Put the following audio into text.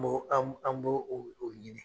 N b'o, an b'o o ɲini